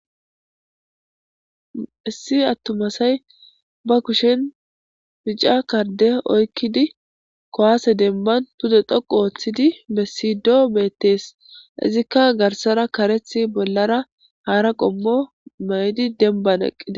issi attuma asay ba kushin mica karde oykkidi kowaase demban pude dhoqu ooththidi bessido beettees izikka garsara kareth bollara haara qommo may7idi denban eqqide